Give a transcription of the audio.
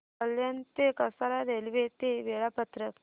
कल्याण ते कसारा रेल्वे चे वेळापत्रक